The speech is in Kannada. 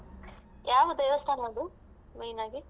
ಯಾವ ದೇವಸ್ಥಾನ ಅದು main ಆಗಿ.